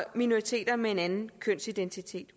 minoriteter med en anden kønsidentitet